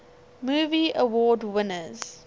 movie award winners